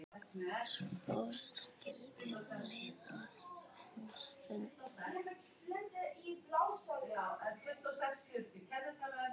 Svo skildi leiðir um stund.